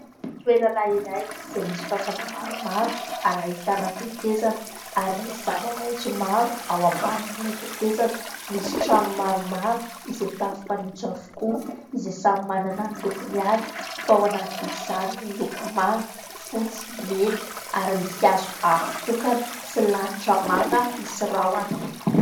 Toerana iray izay misy fafana maromaro ary ahitana tetezana ary misy zava-maitso maro ao ambanin'ilay tetezana. Misy trano maromaro izay tafo fanitso avokoa izay samy manana ny lokony avy fa ao anatin'izany ny loko manga, fotsy, mena ary misy hazo avo tokana sy lanitra langa misy rahona.